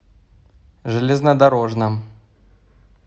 железнодорожном